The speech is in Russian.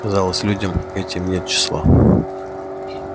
казалось людям этим нет числа